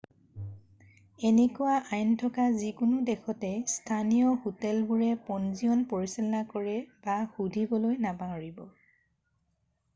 এনেকুৱা আইন থকা যিকোনো দেশতে স্থানীয় হোটেলবোৰে পঞ্জীয়ণ পৰিচালনা কৰে সুধিবলৈ নাপাহৰিব।